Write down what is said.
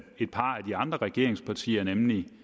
de andre regeringspartiers holdning